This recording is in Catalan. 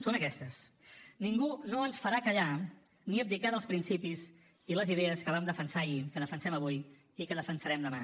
són aquestes ningú no ens farà callar ni abdicar dels principis i les idees que vam defensar ahir que defensem avui i que defensarem demà